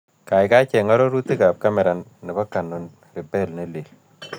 Kaigai cheng' arorutikap kamera ne po canon rebel ne lel